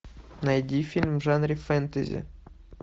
найди фильм в жанре фэнтези